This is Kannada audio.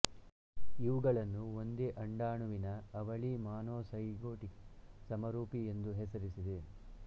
ಇವುಗಳನ್ನು ಒಂದೇ ಅಂಡಾಣುವಿನ ಅವಳಿ ಮಾನೋಸೈಗೊಟಿಕ್ ಸಮರೂಪಿ ಎಂದು ಹೆಸರಿದೆ